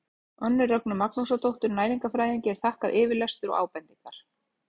Önnu Rögnu Magnúsardóttur næringarfræðingi er þakkaður yfirlestur og ábendingar.